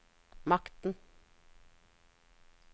makten